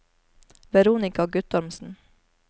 Veronika Guttormsen